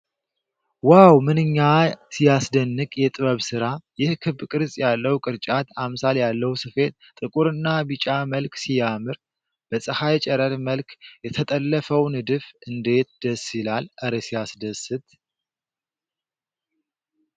ዋው! ምንኛ ሲያስደንቅ የጥበብ ሥራ! ይህ ክብ ቅርጽ ያለው ቅርጫት አምሳል ያለው ስፌት ጥቁርና ቢጫ መልክ ሲያምር! በፀሐይ ጨረር መልክ የተጠለፈው ንድፍ እንዴት ደስ ይላል! እረ ሲያስደስት!